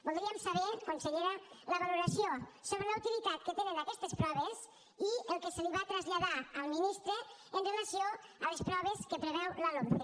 voldríem saber consellera la valoració sobre la utilitat que tenen aquestes proves i el que se li va traslladar al ministre amb relació a les proves que preveu la lomce